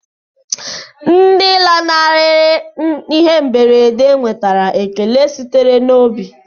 Ndị lanarịrị ihe mberede nwetara ekele sitere n'obi.